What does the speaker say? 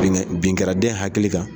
Bin bin kɛra den hakili kan.